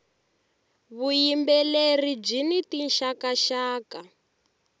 vuyimbeleri byini tinxaka nxaka